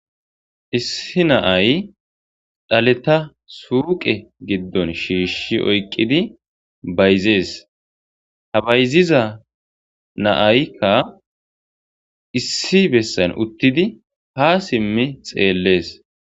Issi naay dhaleta suuqe giddon shiishi oyqqidi bayzees ha bayziza naaykka issi bessan uttidi ha simmi xeellees